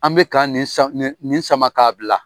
An bɛ ka nin sa nin nin sama k'a bila.